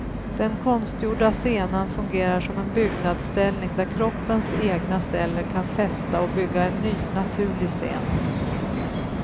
Den konstgjorda senan fungerar som en byggnadsställning där kroppens egna celler kan fästa och bygga en ny, naturlig sena.